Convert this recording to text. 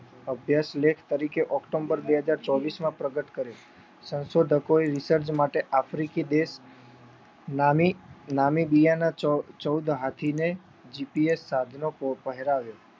અભ્યાસ લેખ તરીકે ઓક્ટોમ્બર બે હજાર ચોવીશમાં પ્રગટ કર્યું. સંશોધકોએ રિસર્ચ માટે આફ્રિકી દેશ નામે નામી બીયાના ચૌદ હાથીને